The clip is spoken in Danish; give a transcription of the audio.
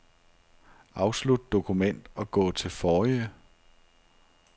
Afslut dokument og gå til forrige.